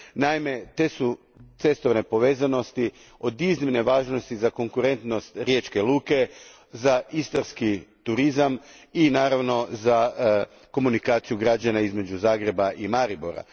Naime, te su cestovne povezanosti od iznimne važnosti za konkurentnost Riječke luke, za istarski turizam i, naravno, za komunikaciju građana između Zagreba i Maribora.